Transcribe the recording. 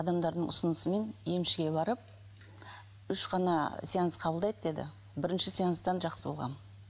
адамдардың ұсынысымен емшіге барып үш қана сеанс қабылдайды деді бірінші сеанстан жақсы болғанмын